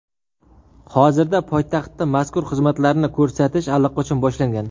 Hozirda poytaxtda mazkur xizmatlarni ko‘rsatish allaqachon boshlangan.